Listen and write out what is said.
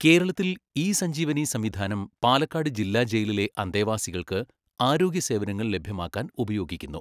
കേരളത്തിൽ ഇ സഞജീവനി സംവിധാനം പാലക്കാട് ജില്ലാ ജയിലിലെ അന്തേവാസികൾക്ക് ആരോഗ്യ സേവനങ്ങൾ ലഭ്യമാക്കാൻ ഉപയോഗിക്കുന്നു.